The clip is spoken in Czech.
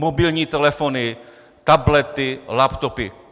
Mobilní telefony, tablety, laptopy.